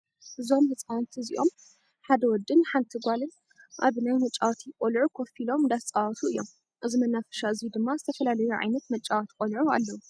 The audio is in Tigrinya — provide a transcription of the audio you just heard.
እዞም ህፃወቲ እዚኣበ ሓደ ወደን ሓንቲ ጓል ኣብ ናይ መጫወቲ ቆልዑ ኮፍ ኢሎ እንዳተፃወቱ እዮም። እዚ መናፈሻ እዙይ ድማ ዝተፈላለዩ ዓይነት መጫወቲ ቆልዑ ኣለው።